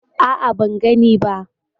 A'a, ban gani ba.